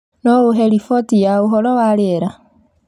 No ũhe riboti ya ũhoro wa rĩera